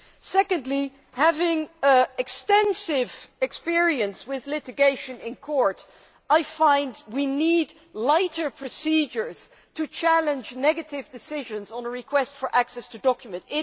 Secondly, having extensive experience with litigation in Court, I feel that we need lighter procedures to challenge negative decisions on requests for access to documents.